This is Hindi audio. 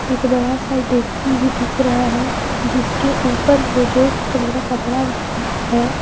एक बड़ा सा डेकची भी दिख रहा है जिसके ऊपर से रेड कलर का कपड़ा है।